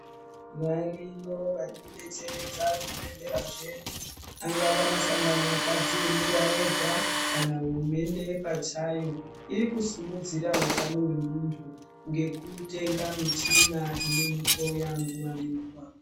Variyo varikudetseredza zvibhedhlera zvedu angava masangano akadziemera ega kana hurumende pachayo iri kusimudzira utano hwemuntu ngekutenga michina inomuhloya nguwa nenguwa.